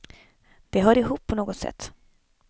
Det hör ihop på något sätt.